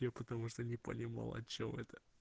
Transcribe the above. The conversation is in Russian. я потому что не понимал о чем это